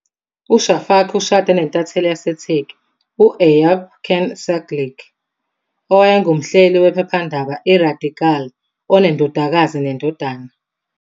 UShafak ushade nentatheli yaseTurkey u- Eyüp Can Sağlık, owayengumhleli wephephandaba "iRadikal", onendodakazi nendodana.